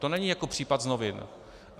To není jako případ z novin.